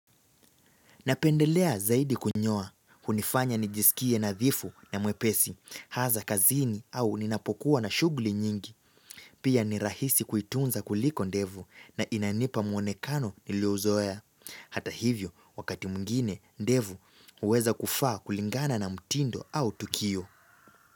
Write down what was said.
Napendelea zaidi kunyoa. Hunifanya nijisikie nadhifu na mwepesi, haza kazini au ninapokuwa na shugli nyingi. Pia ni rahisi kuitunza kuliko ndevu na inanipa mwonekano niliouzoea. Hata hivyo, wakati mungine, ndevu uweza kufaa kulingana na mtindo au tukio.